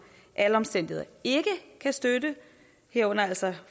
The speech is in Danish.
alle omstændigheder ikke kan støtte herunder altså